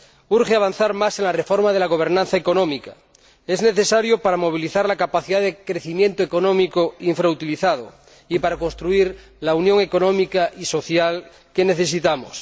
Urge avanzar más en la reforma de la gobernanza económica es necesario para movilizar la capacidad de crecimiento económico infrautilizado y para construir la Unión económica y social que necesitamos.